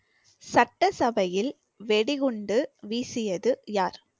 சட்டசபையில் வெடிகுண்டு வீசியது யார்